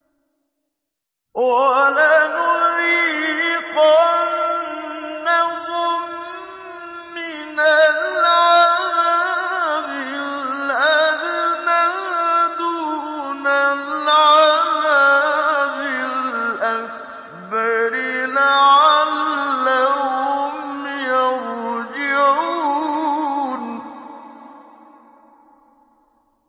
وَلَنُذِيقَنَّهُم مِّنَ الْعَذَابِ الْأَدْنَىٰ دُونَ الْعَذَابِ الْأَكْبَرِ لَعَلَّهُمْ يَرْجِعُونَ